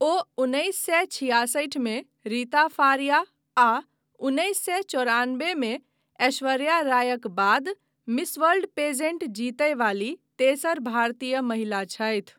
ओ उन्नैस सए छिआसठिमे रीता फारिया आ उन्नैस सए चौरानबेमे ऐश्वर्या रायक बाद मिस वर्ल्ड पेजेंट जीतय बाली तेसर भारतीय महिला छथि।